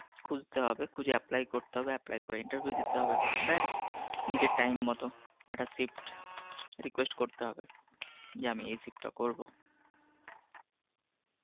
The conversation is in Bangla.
খুজতে হবে খুঁজে apply করতে হবে apply করে interview দিতে হবে ব্যস নিজের টাইম মত একটা shift request করতে হবে যে আমি এই shift টা করবো